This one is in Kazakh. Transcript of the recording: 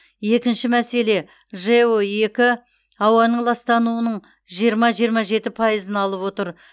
екінші мәселе жэо екі ауаның ластануының жиырма жиырма жеті пайыз алып отыр